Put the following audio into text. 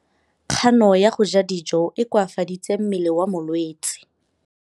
Kganô ya go ja dijo e koafaditse mmele wa molwetse.